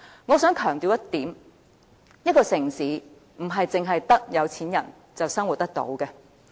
我想強調一點，一個城市不止是有錢人才能生活。